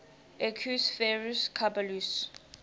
equus ferus caballus